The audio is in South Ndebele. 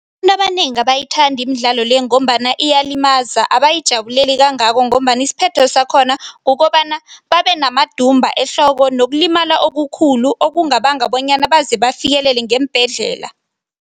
Abanengi abayithandi imidlalo le ngombana iyalimaza, abayijabuleleli kangako ngombana isiphetho sakhona kukobana babenamadumba ehloko nokulimala okukhulu okungabanga bonyana baze bafikelele ngeembhedlela.